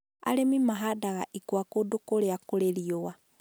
Arĩmi mahandaga ikwa kũndũ kũrĩa kũrĩ riũa.